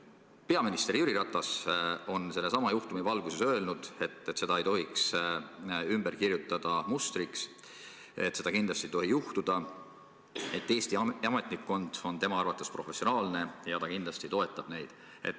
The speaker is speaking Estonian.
Peaminister Jüri Ratas on sellesama juhtumi valguses öelnud, et seda ei tohiks muuta mustriks, seda ei tohiks kindlasti juhtuda, Eesti ametnikkond on tema arvates professionaalne ja ta kindlasti toetab neid.